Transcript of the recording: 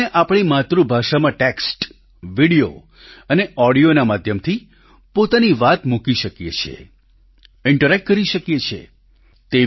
તેમાં આપણે આપણી માતૃભાષામાં ટેક્સ્ટ વીડિયો અને ઓડિયોના માધ્યમથી પોતાની વાત મૂકી શકીએ છીએ ઈન્ટરેક્ટ કરી શકીએ છીએ